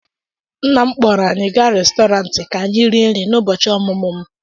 nna m kpọọrọ anyị gaa Restọrantị ka anyị rie nri n'ụbọchị ọmụmụ m